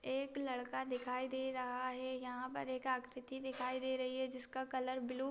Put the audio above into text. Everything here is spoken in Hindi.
एक लड़का दिखाई दे रहा है यहां पर एक आकृति दिखाई दे रही है जिसका कलर ब्लू --